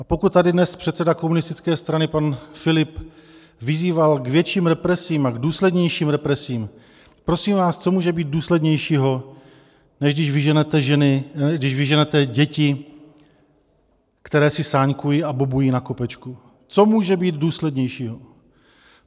A pokud tady dnes předseda komunistické strany pan Filip vyzýval k větším represím a k důslednějším represím, prosím vás, co může být důslednějšího, než když vyženete děti, které si sáňkují a bobují na kopečku, co může být důslednějšího?